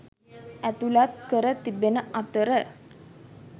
ඇතුළත් කර තිබෙන අතර